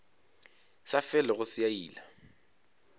sa felego se a ila